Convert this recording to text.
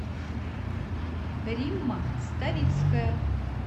римма ставицкая